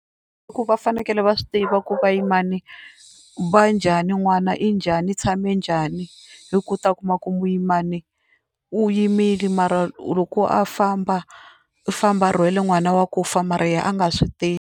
Ku va fanekele va swi tiva ku vayimana va njhani, n'wana i njhani, i tshame njhani. Hi ku u ta kuma ku muyimani u yimile mara loko a famba u famba a rhwele n'wana wa ku fa mara yena a nga swi tivi.